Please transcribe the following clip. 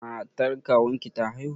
Matar kawunki ta haihu?